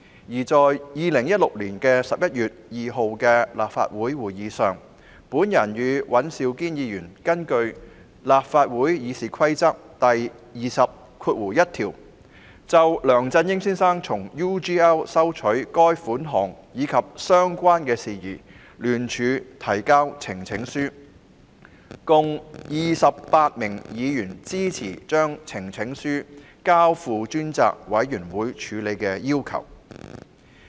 而在2016年11月2日的立法會會議上，我與尹兆堅議員根據《議事規則》第201條，就梁振英先生從 UGL 收取款項及相關事宜聯署提交呈請書，共28位議員支持將呈請書交付專責委員會處理的要求。